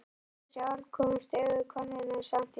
Við þessi orð komust augu konunnar í samt lag.